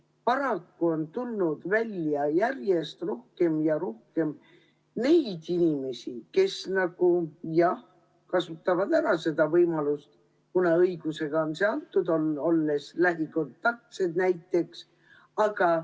Paraku on tulnud välja järjest rohkem ja rohkem neid inimesi, kes kasutavad seda võimalust ära, kuna see on õigusega neile antud.